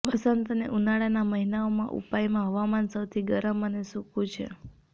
વસંત અને ઉનાળાના મહિનાઓમાં ઉપાયમાં હવામાન સૌથી ગરમ અને સૂકું છે